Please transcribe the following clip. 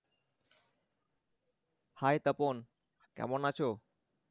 hi Tapan কেমন আছো?